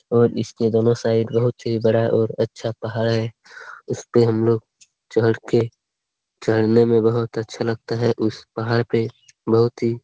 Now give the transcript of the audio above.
और इसके दोनों साइड बहुत ही बड़ा और अच्छा पहाड़ है उसपे हमलोग चढ़ के चढ़ने में बहुत अच्छा लगता है उस पहाड़ पे बहुत ही --